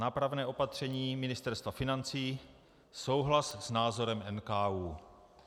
- Nápravné opatření Ministerstva financí: souhlas s názorem NKÚ.